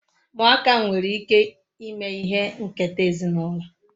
Muaka nwere ike ime ihe nketa ezinulo